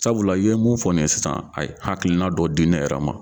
Sabula i ye mun fɔ nin ye sisan a ye hakilina dɔ di yɛrɛ ma